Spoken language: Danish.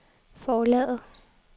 forlaget